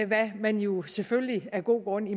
hvad man jo selvfølgelig af gode grunde